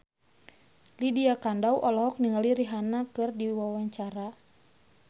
Lydia Kandou olohok ningali Rihanna keur diwawancara